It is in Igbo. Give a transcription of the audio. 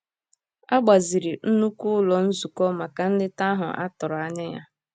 A gbaziri nnukwu ụlọ nzukọ maka nleta ahụ a tụrụ anya ya.